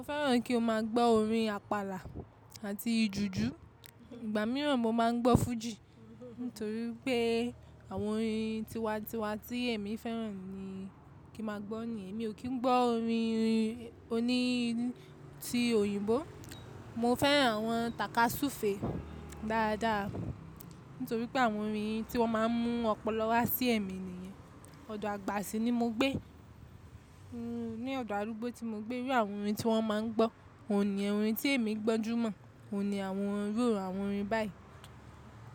Mo fẹ́ràn kí n máa gbọ́ orin àpàlà àti jùjú. Ìgbà mìíràn mo máa ń gbọ́ fújì nítorí pé àwọn orin tiwa-tiwa tí èmi fẹ́ràn ni kí máa gbọ́ nìyẹn. Èmi ò kí ń gbọ́ orin oní tí òyìnbó, mo fẹ́ràn àwọn tàkasúfèé dáadáa nítorí pé àwọn orin tí wọ́n máa ń mú ọpọlọ wá sí ẹ̀mí nìyẹn. Ọ̀dọ̀ àgbà sí ni mo gbé, ní ọ̀dọ̀ arúgbó tí mo gbé iru àwọn orin tí wọ́n máa ń gbọ́, òun niyen orin tí èmi gbọ́n jù mọ́, ò ní àwọn iru àwọn orin báyìí.